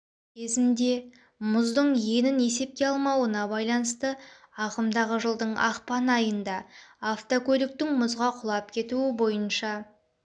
кезінде мұздың енін есепке алмауына байланысты ағымдағы жылдың ақпан айында автокөліктің мұзға құлап кетуі бойынша